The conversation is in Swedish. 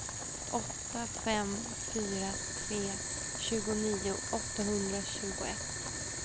åtta fem fyra tre tjugonio åttahundratjugoett